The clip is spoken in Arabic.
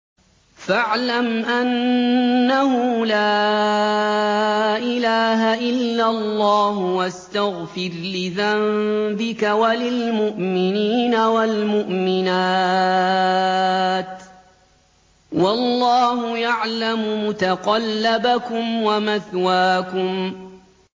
فَاعْلَمْ أَنَّهُ لَا إِلَٰهَ إِلَّا اللَّهُ وَاسْتَغْفِرْ لِذَنبِكَ وَلِلْمُؤْمِنِينَ وَالْمُؤْمِنَاتِ ۗ وَاللَّهُ يَعْلَمُ مُتَقَلَّبَكُمْ وَمَثْوَاكُمْ